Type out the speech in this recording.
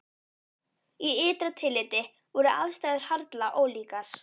Í ytra tilliti voru aðstæður harla ólíkar.